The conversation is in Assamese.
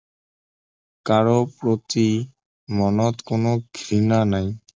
কাৰো প্ৰতি মনত কোনো ঘৃণা নাই